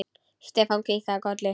Stefán kinkaði kolli.